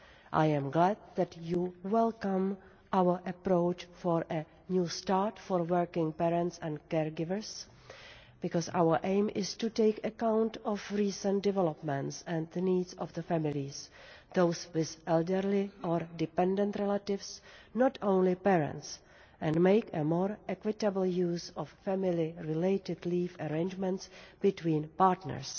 I am glad that Parliament welcomes our approach for a New start for working parents and care-givers' because our aim is to take account of recent developments and the needs of the families those with elderly or dependent relatives, not only parents and make more equitable use of family related leave arrangements between partners.